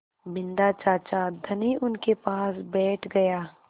बिन्दा चाचा धनी उनके पास बैठ गया